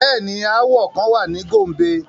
Bẹẹni, aawọ kan wa ni Gombe